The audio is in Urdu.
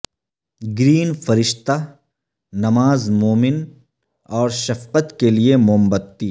گرین فرشتہ نماز مومن اور شفقت کے لئے موم بتی